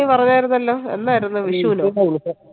നീ പറഞ്ഞായിരുന്നല്ലോ എന്നായിരുന്നു വിഷുനോ